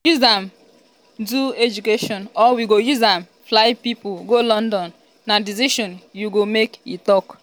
we go use am do education or we go use am fly pipo go london na decision you go make" e tok.